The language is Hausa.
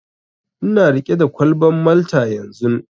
Ina riƙe da kwalban Malta yanzun.